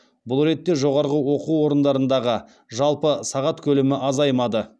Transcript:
бұл ретте жоғарғы оқу орындарындағы жалпы сағат көлемі азаймады